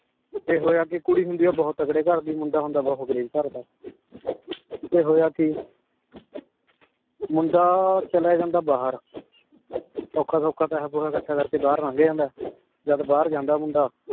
ਫੇਰ ਹੋਯਾ ਕੇ ਕੁਰੀ ਹੁੰਦੀ ਆਯ ਬੋਹਤ ਤਾਗਰੀ ਘਰ ਦੀ ਮੁੰਡਾ ਹੋਂਦਾ ਬੋਹਤ ਗਰੀਬ ਘਰ ਦਾ ਫੇਰ ਹੋਯਾ ਕੀ ਮੁੰਡਾ ਚਲਯ ਜਾਂਦਾ ਬਹਿਰ ਓਖਾ ਸੋਖਾ ਪੈਸਾ ਪੋਸਾ ਅਕਥ ਕਰ ਕੇ ਬਹਿਰ ਨੰਗ ਜਾਂਦਾ ਜਦ ਬਹਿਰ ਜਾਂਦਾ ਮੁੰਡਾ